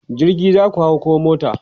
jirgi zaku hau koh mota?